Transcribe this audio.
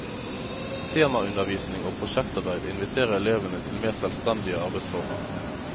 Temaundervisning og prosjektarbeid inviterer elevene til mer selvstendige arbeidsformer.